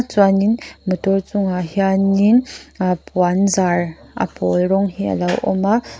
chuanin motor chungah hianin uh puan zar a pawl rawng hi a lo awm a.